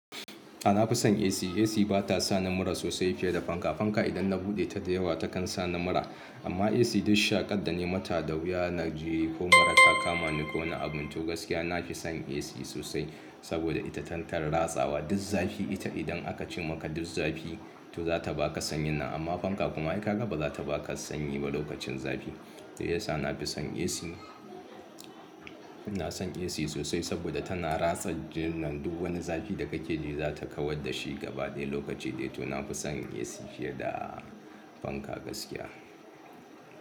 A'a na fi son AC, AC ba ta sa ni mura sosai fiye da fanka. Fanka idan na buɗe ta da yawa ta kan sa ni mura. Amma AC duk shaƙar da nayi mata da wuya na ji ko mura ta kama ni ko wani abun to gaskiya na fi son AC sosai. Saboda ita takan ratsawa duk zafi. Ita idan aka ce maka duk zafi to za ta baka sanyi nan. Amma fanka kuma ka ga ga ba za ta baka sanyi ba lokacin zafi. Shi ya sa na fi son AC. Ina son AC sosai saboda tana ratsa jin nan duk wani zafi da kake ji za ta kawar da shi gaba ɗaya lokaci dai. To na fi son AC fiye da fanka gaskiya.